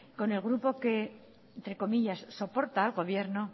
con el grupo que entre comilla soporta al gobierno